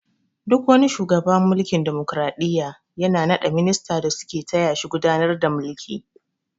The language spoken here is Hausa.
Duk wani shugawa a mulkin damokaraɗiyya yana na ɗa ministoci da su ke taya shi gudanar da mulki